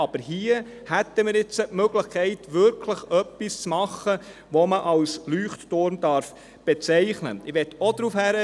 Aber hier hätten wir nun die Möglichkeit, etwas zu schaffen, das man wirklich als Leuchtturm bezeichnen darf.